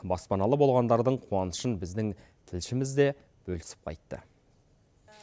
баспаналы болғандардың қуанышын біздің тілшіміз де бөлісіп қайтты